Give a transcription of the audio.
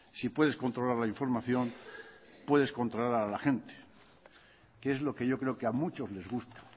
si puedes controlar la información puedes controlar a la gente que es lo que yo creo que a muchos les gusta